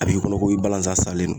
A b'i kɔnɔ ko i balanzan salen no